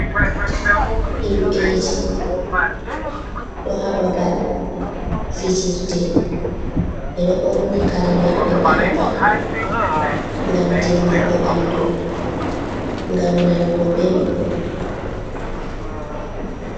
Himbeji ɗo ha babal fijirde. Ɓe ɗo borni kare maɓɓe, fadi paɗe, gam dimbugo bandu, gam nanugo belɗum.